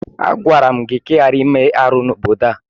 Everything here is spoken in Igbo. Agwara m gị ka ị ghara ime ihe árú n'obodo ahu!